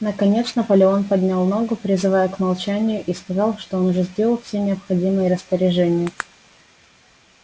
наконец наполеон поднял ногу призывая к молчанию и сказал что он уже сделал все необходимые распоряжения